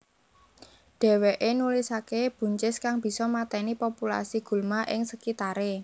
Dheweke nulisake buncis kang bisa mateni populasi gulma ing sekitare